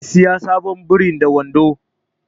Zai saya sabon biri da wando